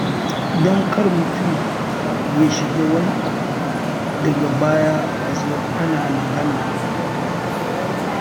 Don kar mutum ya shiga wani abu daga baya a zo ana magana.